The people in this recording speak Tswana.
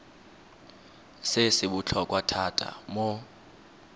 se se botlhokwa thata mo